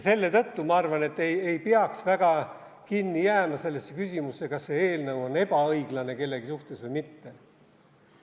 Selle tõttu, ma arvan, ei peaks väga kinni jääma küsimusse, kas see eelnõu on kellegi suhtes ebaõiglane või mitte.